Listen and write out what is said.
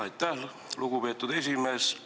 Aitäh, lugupeetud esimees!